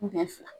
Den fila